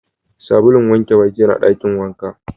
Sabulun wanke Baki yana Dakin wanka.